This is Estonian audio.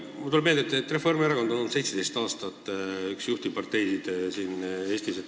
Mulle tuleb meelde, et Reformierakond on olnud 17 aastat üks juhtivaid parteisid siin Eestis.